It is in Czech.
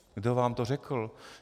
Kdo vám to řekl?